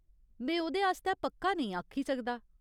में ओह्दे आस्तै पक्का नेईं आखी सकदा।